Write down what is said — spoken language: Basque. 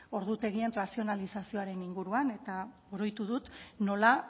ordutegien razionalizazioaren inguruan eta oroitu dut nola